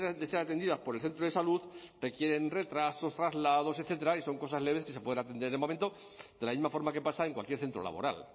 de ser atendidas por el centro de salud requieren retrasos trasladados etcétera y son cosas leves que se pueden atender al momento de la misma forma que pasa en cualquier centro laboral